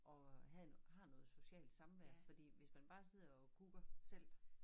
Og har har noget socialt samværd fordi hvis man bare sidder og kukker selv